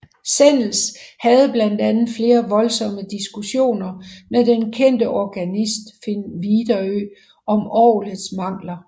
Sennels havde blandt andet flere voldsomme diskussioner med den kendte organist Finn Viderø om orglets mangler